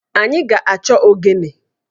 Anyị ga-achọ ogene